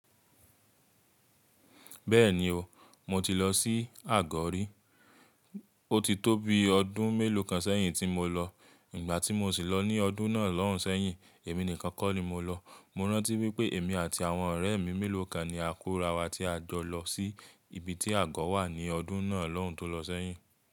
Bẹ́ẹ̀ni o, mo ti lọ sí Àgọ́ rí. O ti tó bi ọdún mélòó kan sẹ́yìn tí mo lọ. Ìgbà tí mo sì lọ ní ọdún náà lọ́hùn sẹ́yìn, èmi nìkan kọ́ ni mo lọ. Mo rántí wípé èmi àti àwọn ọ̀rẹ́ mi mélòó kan ni àkúrawà tí a jọ lọ sí ibi tí Àgọ́ wà ní ọdún náà lọ́hùn tó lọ sẹ́yìn.